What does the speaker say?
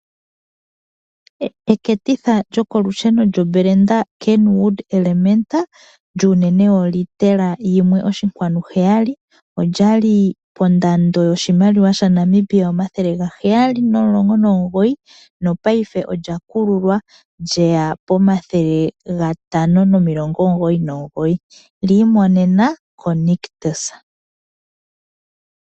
Eketitha lyokolusheno lyedhina Kenwood Elementa, lyuunene woliitela yimwe oshinkwanu heyali, olya li pondando yoshimaliwa shaNamibia omathele gaheyali nomulongo nomugoyi, nopaife olya kululwa lyeya pomathele gatano nomulongo omugoyi nomugoyi, lyi imonena koNictus.